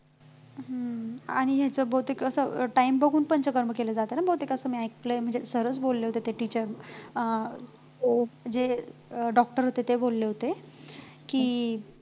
हम्म हम्म आणि ह्याचा बहुतेक असं time बघून पंचकर्म केलं जात ना बहुतेक असं मी ऐकलंय म्हणजे sir च बोलले होते ते तिथं अं हो जे म्हणजे doctor होते ते बोलले होते की